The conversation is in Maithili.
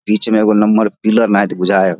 बीच में एगो नम्हर पिलर नायत बुझाए ये।